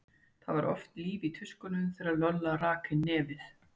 Það var oft líf í tuskunum þegar Lolla rak inn nefið.